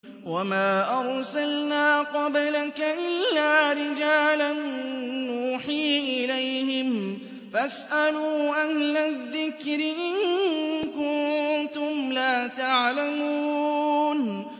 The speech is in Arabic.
وَمَا أَرْسَلْنَا قَبْلَكَ إِلَّا رِجَالًا نُّوحِي إِلَيْهِمْ ۖ فَاسْأَلُوا أَهْلَ الذِّكْرِ إِن كُنتُمْ لَا تَعْلَمُونَ